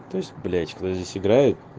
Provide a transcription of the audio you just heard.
то есть блядь вы здесь играют